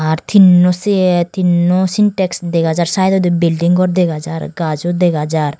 ar tinno siye tinno syntex degajar saidodi bilding gor dega jaar gajo dega jaar.